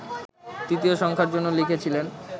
তৃতীয় সংখ্যার জন্য লিখেছিলেন